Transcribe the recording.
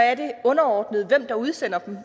at det er underordnet hvem der udsender dem